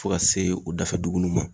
Fo ka se o dafa dugu nunnu ma.